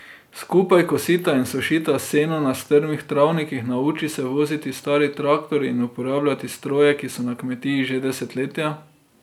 Skupaj kosita in sušita seno na strmih travnikih, nauči se voziti stari traktor in uporabljati stroje, ki so na kmetiji že desetletja.